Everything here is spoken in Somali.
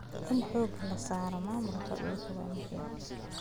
In xooga la saaro maamulka dhulka waa muhiim.